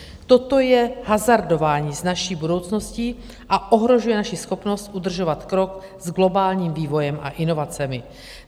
Toto je hazardování s naší budoucností a ohrožuje naši schopnost udržovat krok s globálním vývojem a inovacemi.